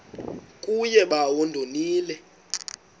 kuye bawo ndonile